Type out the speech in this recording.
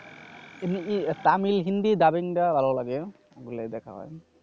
Tamil Hindi dubbing ডা ভালো লাগে। ওগুলাই দেখা হয়।